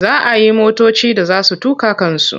Za a yi motoci da za su tuƙa kansu.